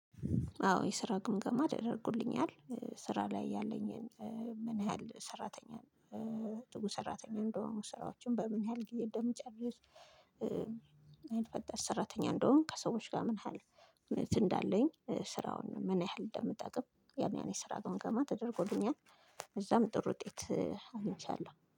አዎ የስራ ግምገማ ያደርጉልኛል ስራ ላይ ያለኝን ምን ያህል ሰራተኛ ጥሩ ሰራተኛ እንደሆንሁ ስራዎችን በምን ያህል ጊዜ እንደምጨርስ ያህል ፈጣን ሰራተኛ እንደሆንሁ ከሰዎች ጋር ምን ያህል እምነት እንዳለኝ ስራውን ምን ያህል እንደምንጠቅም ያን ያን የሰራተኛ ገምገማ ተደርጎልኛል፤ እዛም ጥሩ ውጤት አግኝቻለሁ።